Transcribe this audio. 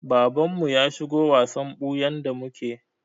Babanmu ya shigo wasan ɓuyan da muke.